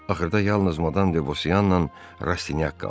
Axırda yalnız Madam Debosyanla Rastinyak qaldı.